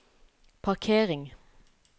parkering